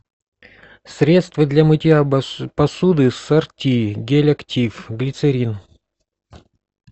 средство для мытья посуды сорти гель актив глицерин